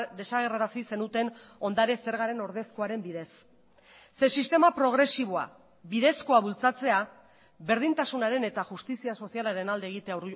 desagerrarazi zenuten ondare zergaren ordezkoaren bidez ze sistema progresiboa bidezkoa bultzatzea berdintasunaren eta justizia sozialaren alde egitea